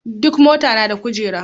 Duk mota na da kujeru.